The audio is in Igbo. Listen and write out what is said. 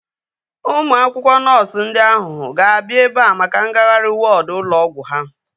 Ụmụ akwụkwọ nọọsu ndị ahu ga-abịa ebea maka ngagharị wọọdu ụlọ ọgwụ ha